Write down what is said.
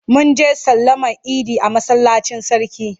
Mun je sallama idi a masallacin sarki.